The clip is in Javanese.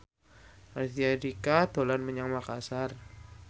Raditya Dika dolan menyang Makasar